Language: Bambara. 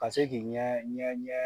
Ka se k'i ɲɛ ɲɛ ɲɛ